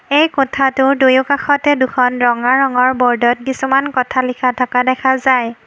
এই কোঠাটোৰ দুয়োকাষতে দুখন ৰঙা ৰঙৰ ব'ৰ্ডত কিছুমান কথা লিখা থকা দেখা যায়।